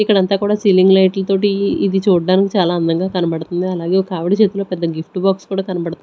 ఇక్కడంతా కూడా సీలింగ్ లైట్ల తోటి ఇది చూడ్డానికి చాలా అందంగా కనబడుతుంది అలాగే ఒక ఆవిడ చేతిలో పెద్ద గిఫ్ట్ బాక్స్ కనబడుతుం--